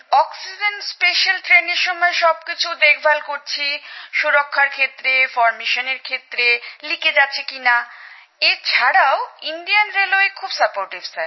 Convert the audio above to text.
oxygen special ট্রেনের সময় সব কিছু দেখভাল করেছি সুরক্ষার ক্ষেত্রে ফরমেশনের ক্ষেত্রে লিকেজ আছে কি না এ ছাড়াও ভারতীয় রেল খুব সাহায্য করে স্যার